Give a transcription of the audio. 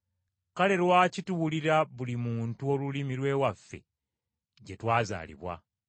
Kale lwaki tuwulira buli muntu olulimi lw’ewaffe gye twazaalibwa?